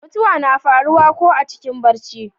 mutuwa na faruwa ko a cikin barci